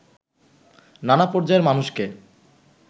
নানা পর্যায়ের মানুষকে